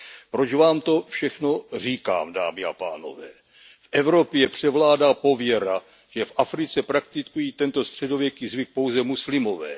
Proč vám to všechno říkám, dámy a pánové. V Evropě převládá pověra, že v Africe praktikují tento středověký zvyk pouze muslimové.